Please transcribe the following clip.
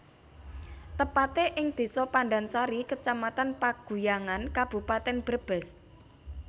Tepate ing Desa Pandansari Kecamatan Paguyangan Kabupaten Brebes